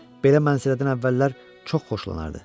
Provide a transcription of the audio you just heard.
Belə mənzərədən əvvəllər çox xoşlanardı.